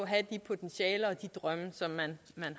have de potentialer og de drømme som man